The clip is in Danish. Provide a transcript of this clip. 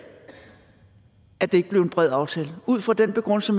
at det ikke blev en bred aftale ud fra den begrundelse